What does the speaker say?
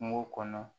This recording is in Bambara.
Kungo kɔnɔ